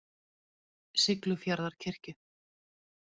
Siglufjarðarkirkju